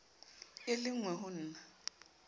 e le engwe ho na